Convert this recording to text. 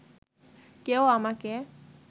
কেউ আমাকে